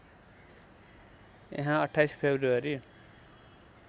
यहाँ २८ फ्रेब्रुवरी